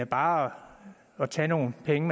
bare at tage nogle penge